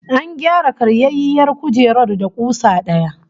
An gyara karyayyiyar kujerar da kusa daya